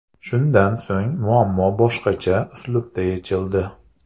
Shundan so‘ng muammo boshqacha uslubda yechildi.